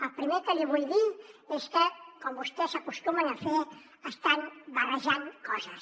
el primer que li vull dir és que com vostès acostumen a fer estan barrejant coses